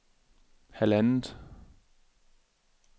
halvandet